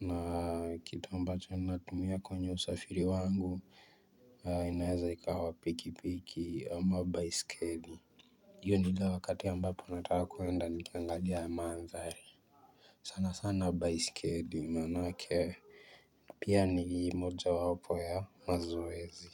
Na kitu ambacho natumia kwenye usafiri wangu inaweza ikawa piki piki ama baiskeli hiyo ni ile wakati ambapo nataka kwenda nikiangalia mandhari, sana sana baisikeli maanake pia ni mojawapo ya mazoezi.